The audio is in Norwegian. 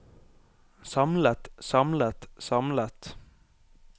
samlet samlet samlet